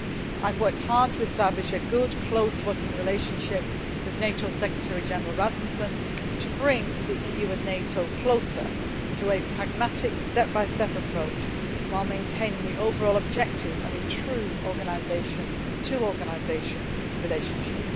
I have worked hard to establish a good, close working relationship with NATO Secretary General Rasmussen, to bring the EU and NATO closer through a pragmatic step by step approach, while maintaining the overall objective of a true organisation to organisation relationship.